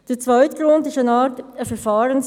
Der zweite Grund betrifft das Verfahren.